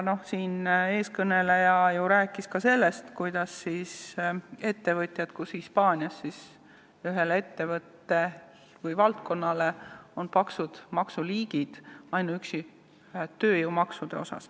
Üks eelkõnelejatest ju rääkis ka sellest, millised on Hispaanias ühes valdkonnas maksuliigid ainuüksi tööjõumaksude mõttes.